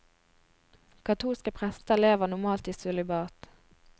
Katolske prester lever normalt i sølibat.